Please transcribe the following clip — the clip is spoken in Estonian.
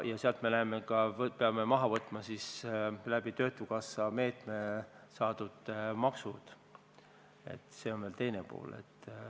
Ja sealt peame maha võtma töötukassa meetme kaudu saadud maksud, see on veel teine pool.